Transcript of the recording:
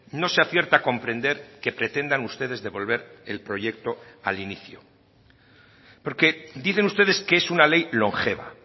no se acierta a comprender que pretendan ustedes devolver el proyecto al inicio porque dicen ustedes que es una ley longeva